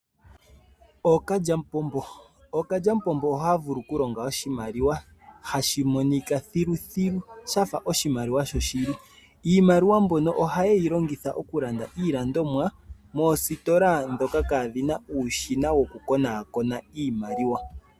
Ookalyamupombo Ookalyamupombo ohaya vulu okulonga oshimaliwa hashi monika thiluthilu shafa oshimaliwa shoshili iimaliwa mbyono ohaye yi longitha oku landa iilandomwa moositola ndhoka kaa dhina uushina woku konaakona iimaliwa.